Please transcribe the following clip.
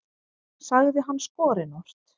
sagði hann skorinort.